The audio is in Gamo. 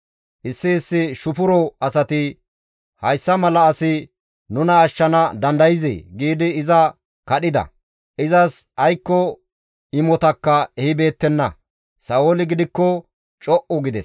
Issi issi shufuro asati, «Hayssa mala asi nuna ashshana dandayzee?» giidi iza kadhida; izas aykko imotakka ehibeettenna; Sa7ooli gidikko co7u gides.